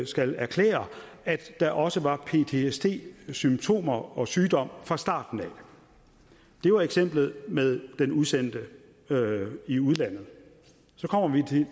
skal erklære at der også var ptsd symptomer og sygdom fra starten af det var eksemplet med den udsendte i udlandet så kommer vi